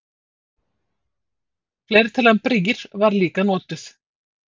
Fleirtalan brýr var líka notuð.